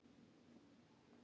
Nema gömlu byttunni.